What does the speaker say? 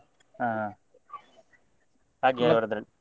ಹಾ ಹಾಗೆ ಇವ್ರದ್ರಲ್ಲಿ.